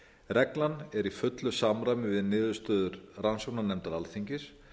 reglan er í fullu samræmi við niðurstöður rannsóknarnefndar alþingis